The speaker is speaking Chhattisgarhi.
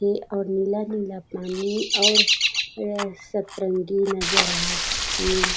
ये और नीला-नीला पानी और ये सतरंगी नजर आथे।